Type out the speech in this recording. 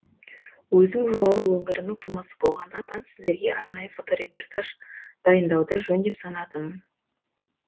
өзім жуалы өңірінің тумасы болғаннан нан сіздерге арнайы фоторепортаж дайындауды жөн деп санадым